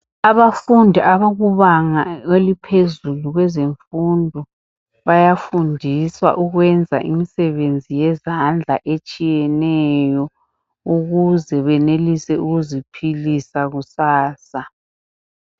Abafundi abakubanga eliphezulu kwezemfundo bayafundiswa ukuyenza imisebenzi yezandla etshiyeneyo ukuze benelise ukuziphilisa kusasa